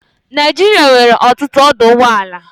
Naijiria nwere ọtụtụ ọdọ ụgbọelu